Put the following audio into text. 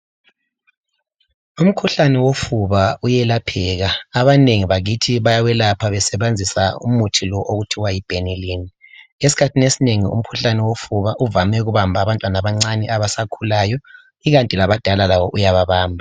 Umkhuhlane wofuba uyelapheka abanengi bakithi bayawelapha besebenzisa umuthi lo okuthiwa yiBenilyn esikhathini esinengi umkhuhlane wofuba uvame ukubamba abantwana abancane abasakhulayo ikanti labadala labo uyabamba.